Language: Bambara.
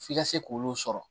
F'i ka se k'olu sɔrɔ